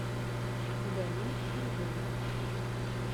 галим андреевич